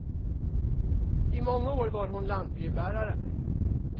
I många år var hon lantbrevbärare.